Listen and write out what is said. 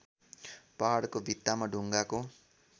पहाडको भित्तामा ढुङ्गाको